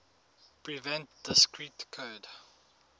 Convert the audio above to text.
prevent discrete code